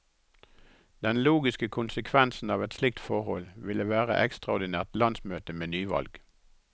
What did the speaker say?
Den logiske konsekvensen av et slikt forhold ville være ekstraordinært landsmøte med nyvalg.